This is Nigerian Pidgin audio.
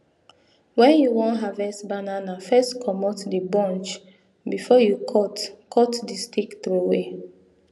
when you wan harvest banana first comot the bunch before you cut cut the stick throway